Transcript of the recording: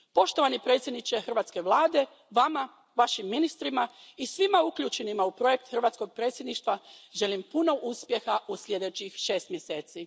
Poštovani predsjedniče hrvatske Vlade, Vama, Vašim ministrima i svima uključenima u projekt hrvatskog predsjedništva želim puno uspjeha u sljedećih šest mjeseci.